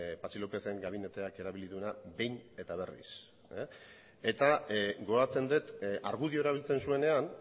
patxi lópezen gabineteak erabili duena behin eta berriz gogoratzen dut argudioa erabiltzen zuenean